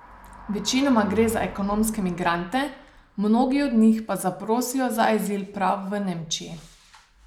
Večinoma gre za ekonomske migrante, mnogi od njih pa zaprosijo za azil prav v Nemčiji.